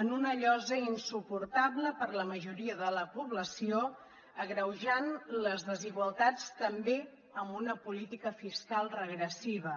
en una llosa insuportable per a la majoria de la població agreujant les desigualtats també amb una política fiscal regressiva